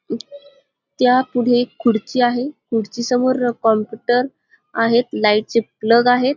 त्या पुढे खुर्ची आहे खुर्ची समोर कॉम्पुटर आहे लाइट चे प्लग आहेत.